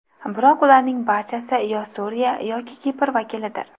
Biroq ularning barchasi yo Suriya, yoki Kipr vakilidir.